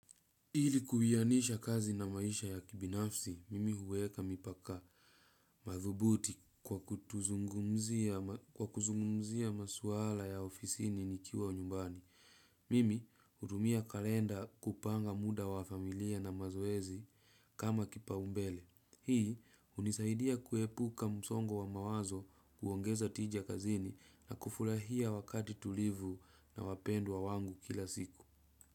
Ili kuwianisha kazi na maisha ya kibinafsi, mimi huweka mipaka madhubuti kwa kuzungumzia maswala ya ofisini nikiwa nyumbani. Mimi hudumia kalenda kupanga muda wa familia na mazoezi kama kipaumbele. Hii hunisaidia kuepuka msongo wa mawazo kuongeza tija kazini na kufurahia wakati tulivu na wapendwa wangu kila siku.